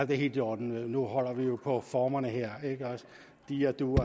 det er helt i orden nu holder vi jo på formerne her de og du og